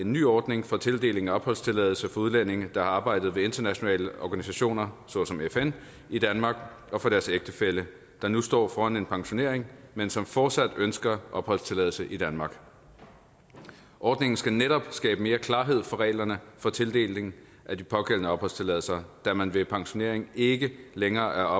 en ny ordning for tildeling af opholdstilladelse for udlændinge der har arbejdet ved internationale organisationer såsom fn i danmark og for deres ægtefælle der nu står foran en pensionering men som fortsat ønsker opholdstilladelse i danmark ordningen skal netop skabe mere klarhed om reglerne for tildeling af de pågældende opholdstilladelser da man ved pensionering ikke længere